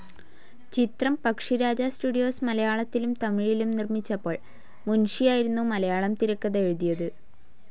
ചിത്രം പക്ഷിരാജ സ്റ്റുഡിയോസ്‌ മലയാളത്തിലും തമിഴിലും നിർമിച്ചപ്പോൾ മുൻഷി ആയിരുന്നു മലയാളം തിരക്കഥ എഴുതിയത്.